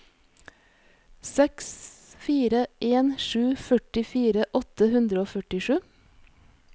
seks fire en sju førtifire åtte hundre og førtisju